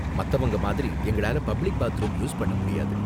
மத்தவங்க மாதிரி எங்களால பப்ளிக் பாத்ரூம் யூஸ் பண்ண முடியாது.